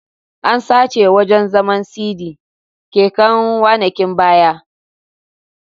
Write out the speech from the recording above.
An sace wajan zaman/sidi keken wanakin baya